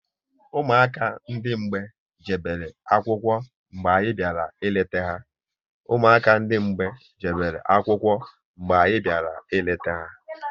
Ụmụaka ndị mgbei jebere akwụkwọ mgbe anyị bịara ịleta ha